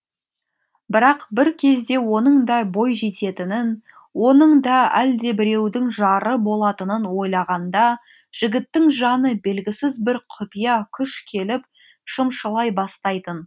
бірақ бір кезде оның да бойжететінін оның да әлдебіреудің жары болатынын ойлағанда жігіттің жаны белгісіз бір құпия күш келіп шымшылай бастайтын